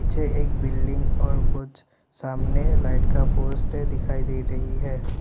पीछे एक बिल्डिंग और कुछ सामने लाइट का पोस्टर दिखाई दे रही है।